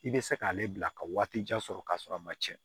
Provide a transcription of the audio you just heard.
I bɛ se k'ale bila ka waati jan sɔrɔ k'a sɔrɔ a ma tiɲɛ